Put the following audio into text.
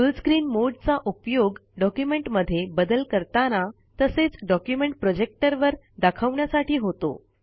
फुल screen मोडे चा उपयोग डॉक्युमेंटमध्ये बदल करताना तसेच डॉक्युमेंट प्रोजेक्टर वर दाखवण्यासाठी होतो